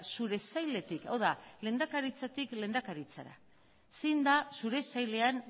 zure sailetik hau da lehendakaritzatik lehendakaritzara zein da zure sailean